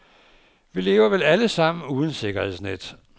Vi lever vel alle sammen uden sikkerhedsnet.